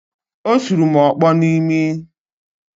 Ọ sụrụ m ọkpọ n’imi